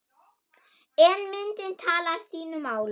En myndin talar sínu máli.